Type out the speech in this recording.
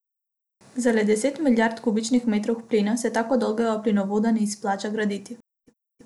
Za le deset milijard kubičnih metrov plina se tako dolgega plinovoda ne izplača graditi.